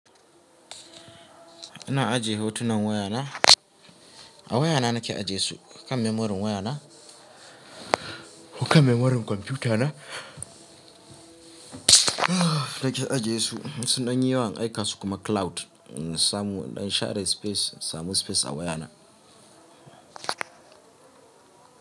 Ina ajiye hotunan wayana, a wayana nake ajiye su, a kan memorin wayana ko kan memorin kwamfiyutana nake ajiye su. In Sun ɗan yi yawa, in aika su kuma cloud, in samu in dan share space, in samu space a wayana.